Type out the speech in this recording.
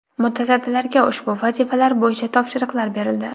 Mutasaddilarga ushbu vazifalar bo‘yicha topshiriqlar berildi.